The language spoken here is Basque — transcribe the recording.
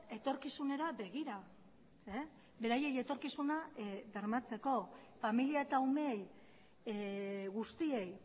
etorkizunera begira beraiei etorkizuna bermatzeko familia eta umeei guztiei